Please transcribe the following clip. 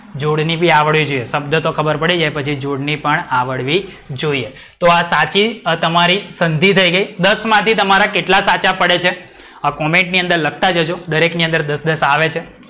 જોડણી બી આવડવી જોઈએ. શબ્દ તો ખબર પડી જાય પછી જોડણી પણ આવડવી જોઈએ. તો આ સાચી તમારી સંધિ થઈ ગઈ. દસ માઠી તમારા કેટલા સાચા પડે છે. આ comment ની અંદર લખતા જજો. દરેક ની અંદર દસ દસ તો આવે જ છે.